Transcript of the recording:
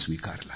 स्वीकारला